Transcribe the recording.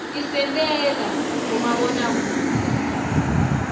tisentela bomabonakudze